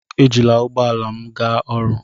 Ejila ụgbọ ala m gaa ọrụ.